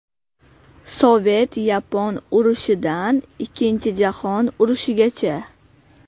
Sovet-yapon urushidan Ikkinchi jahon urushigacha.